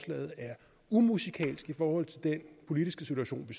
er umusikalsk i forhold til den politiske situation